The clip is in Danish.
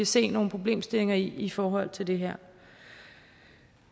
se nogle problemstillinger i i forhold til det her